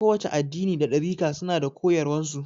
Kowace addini da ɗarika suna da koyaswan su